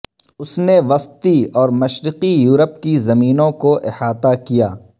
اس نے وسطی اور مشرقی یورپ کی زمینوں کو احاطہ کیا